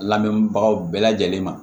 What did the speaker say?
Lamɛnbagaw bɛɛ lajɛlen ma